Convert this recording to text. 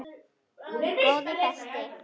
Góði besti!